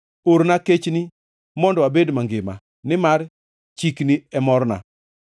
Orna kechni mondo abed mangima, nimar chikni e morna.